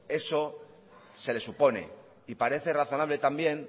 eso se le supone y parece razonable también